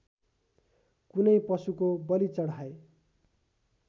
कुनै पशुको बलि चढाए